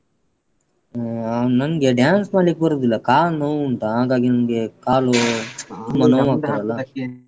ನಂಗೆ dance ಮಾಡ್ಲಿಕ್ಕೆ ಬರುವುದಿಲ್ಲ ಕಾಲು ನೋವುಂಟಾ ಹಾಗಾಗಿ ನನಗೆ ಕಾಲು ತುಂಬ ನೋವುಂಟಾ. ಹ್ಮ್ ನೋಡ್ವ ನಾನ್ try ಮಾಡ್ತೇನೆ ಮತ್ತೆ.